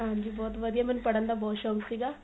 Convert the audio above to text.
ਹਾਂਜੀ ਬਹੁਤ ਵਧੀਆ ਮੇਨੂੰ ਪੜਨ ਦਾ ਬਹੁਤ ਸ਼ੋਂਕ ਸੀਗਾ